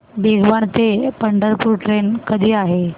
भिगवण ते पंढरपूर ट्रेन कधी आहे